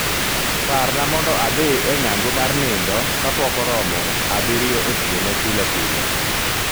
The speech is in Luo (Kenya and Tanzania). Parna mondo adhi e ng'ango mar nindo kapok oromo abirio otieno pilepile